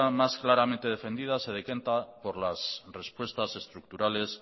más claramente defendida se decanta por las respuestas estructurales